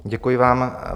Děkuji vám.